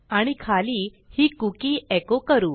आणि खाली ही cookieएको करू